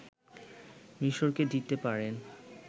মিশরকে দিতে পারেন